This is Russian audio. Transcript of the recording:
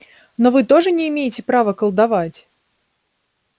но вы тоже не имеете права колдовать